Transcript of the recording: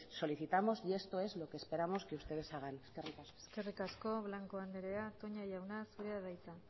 solicitamos y esto es lo que esperamos que ustedes hagan eskerrik asko eskerrik asko blanco andrea toña jauna zurea da hitza